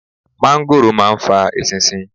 Mángóròò máa ń fa eṣinṣin.